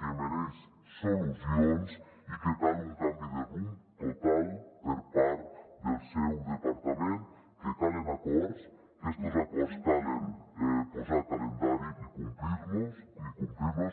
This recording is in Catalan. que mereix solucions i que cal un canvi de rumb total per part del seu departament que calen acords que a estos acords cal posar·los calendari i complir·los